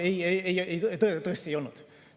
Ei, tõesti ei olnud.